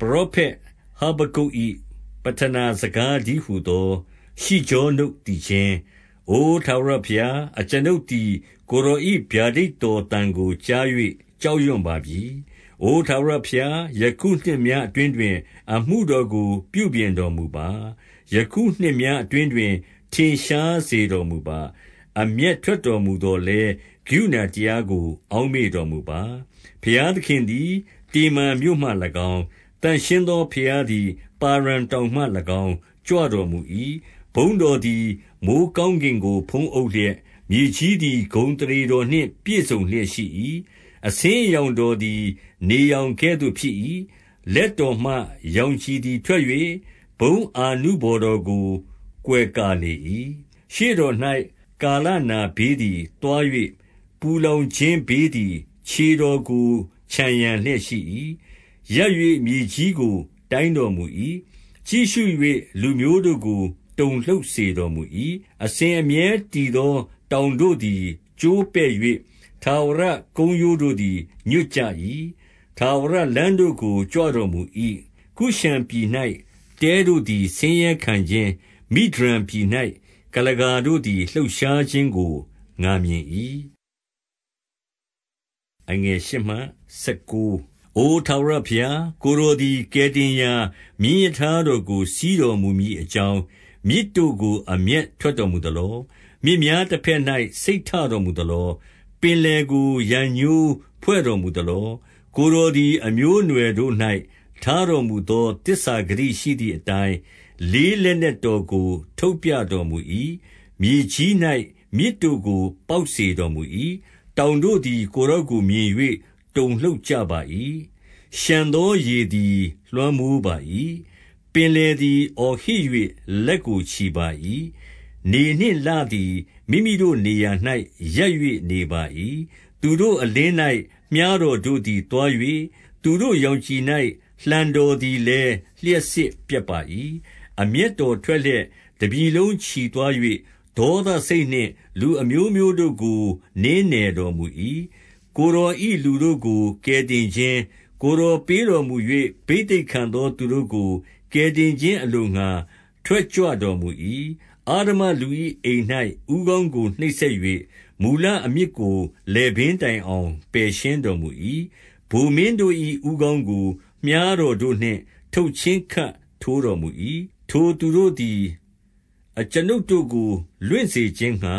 ပရောဖက် ဟဗက္ကုတ်၏ပဌနာစကားတည်းဟူ သော ရှိဂျောနုတ်သီချင်း၊ 2 အို ထာဝရဘုရား၊ အကျွန်ုပ်သည် ကိုယ်တော်၏ ဗျာဒိတ်တော်သံကို ကြား၍ ကြောက်ရွံ့ပါပြီ။ အိုထာဝရ ဘုရား၊ ယခုနှစ်များအတွင်းတွင် အမှုတော်ကို ပြုပြင် တော်မူပါ။ ယခုနှစ်များအတွင်းတွင် ထင်ရှားစေတော်မူ ပါ။ အမျက်ထွက်တော်မူသော်လည်း ကရုဏာတရားကို အောက်မေ့တော်မူပါ။ 3 ဘုရားသခင်သည် တေမန်မြို့မှ၎င်း၊ သန့်ရှင်း သော ဘုရားသည် ပါရန်တောင်မှ၎င်း ကြွတော်မူ၏။ ဘုန်းတော်သည် မိုဃ်းကောင်းကင်ကို ဖုံးအုပ်လျက်၊ မြေ ကြီးသည် ဂုဏ်အသရေတော်နှင့် ပြည့်စုံလျက် ရှိ၏။ 4 အဆင်းအရောင်တော်သည် နေရောင်ကဲ့သို့ ဖြစ်၏။ လက်တော်မှ ရောင်ခြည်သည် ထွက်၍၊ ဘုန်း အာနုဘော်တော်ကို ကွယ်ကာလေ၏။ 5 ရှေ့တော်၌ ကာလနာဘေးသည် သွား၍၊ ပူ လောင်ခြင်းဘေးသည် ခြေတော်ကို ခြံရံလျက်ရှိ၏။ 6 ရပ်၍ မြေကြီးကို တိုင်းတော်မူ၏။ ကြည့်ရှု၍ လူမျိုးတို့ကို တုန်လှုပ်စေတော်မူ၏။ အစဉ်အမြဲတည် သော တောင်တို့သည် ကျိုးပဲ့၍၊ ထာဝရကုန်းရိုးတို့သည် ညွတ်ကြ၏။ ထာဝရလမ်းတို့ကို ကြွတော်မူ၏။ 7 ကုရှန်ပြည်၌ တဲတို့သည် ဆင်းရဲခံခြင်း၊ မိဒျန် ပြည်၌ ကုလားကာတို့သည် လှုပ်ရှားခြင်းကို ငါမြင်၏။ 8 အို ထာဝရဘုရား၊ ကိုယ်တော်သည် ကယ်တင် ရာမြင်းရထားတော်ကို စီးတော်မူမည်အကြောင်း၊ မြစ်တို့ ကို အမျက်ထွက်တော်မူသလော။ မြစ်များတဘက်၌ စိတ် ထတော်မူသလော။ ပင်လယ်ကို ရန်ငြိုးဖွဲ့တော်မူသလော။ 9 ကိုယ်တော်သည် အမျိုးအနွယ်တော်တို့၌ ထား တော်မူသော သစ္စာဂတိရှိသည်အတိုင်း၊ လေးလက်နက် တော်ကို ထုတ်ပြတော်မူ၏။ မြေကြီး၌ မြစ်တို့ကို ပေါက်စေ တော်မူ၏။ 10 တောင်တို့သည် ကိုယ်တော်ကို မြင်၍ တုန်လှုပ် ကြပါ၏။ လျှံသော ရေသည် လွှမ်းမိုးပါ၏။ ပင်လယ်သည် အော်ဟစ်၍ လက်ကို ချီပါ၏။ 11 နေနှင့်လသည် မိမိတို့နေရာ၌ရပ်၍ နေပါ၏။ သူတို့ အလင်း၌ မြှားတော်တို့သည် သွား၍၊ သူတို့ရောင် ခြည်၌ လှံတော်သည်လည်း လျှပ်စစ်ပြက်ပါ၏။ 12 အမျက်တော်ထွက်လျက် တပြည်လုံး ချီသွား၍၊ ဒေါသစိတ်နှင့် လူအမျိုးမျိုးတို့ကို နင်းနယ်တော်မူ၏။ 13 ကိုယ်တော်၏လူတို့ကို ကယ်တင်ခြင်း၊ ကိုယ် တော်ပေးတော်မူ၍ ဘိသိက်ခံသောသူတို့ကို ကယ်တင်ခြင်းအလိုငှါ ထွက် ကြွတော်မူ၏။ အဓမ္မလူ၏အိမ်၌ ဦးခေါင်းကို နှိပ်စက်၍၊ မူလအမြစ်ကို လည်ပင်းတိုင်အောင် ပယ်ရှင်းတော်မူ၏။ 14 ဗိုလ်မင်းတို့၏ ဦးခေါင်းကို မြှားတော်တို့နှင့် ထုတ်ချင်းခပ်ထိုးတော်မူ၏။ ထိုသူတို့သည် အကျွန်ုပ်တို့ကို လွင့်စေခြင်းငှါ